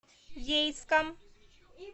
ейском